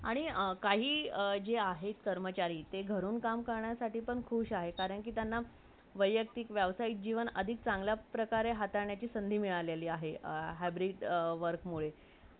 आणि काही जे आहेत कर्मचारी ते घरातून काम करण्यासाठी पण खुश आहेत कारण त्यांना व्यतिक , वेवसही जीवन अधिक चांगला प्रकरणे हातवणेची संधि मिरळी आहे अ hybrid work मुळे